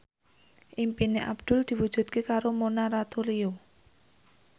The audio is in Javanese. impine Abdul diwujudke karo Mona Ratuliu